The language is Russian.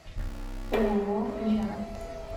ооо лера